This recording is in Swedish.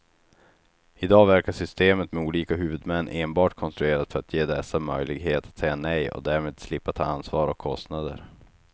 I dag verkar systemet med olika huvudmän enbart konstruerat för att ge dessa möjlighet att säga nej och därmed slippa ta ansvar och kostnader.